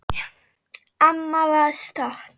Amma var stolt.